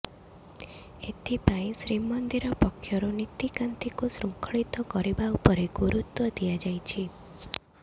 ଏଥିପାଇଁ ଶ୍ରୀମନ୍ଦିର ପକ୍ଷରୁ ନୀତିକାନ୍ତିକୁ ଶୃଙ୍ଖଳିତ କରିବା ଉପରେ ଗୁରୁତ୍ୱ ଦିଆଯାଇଛି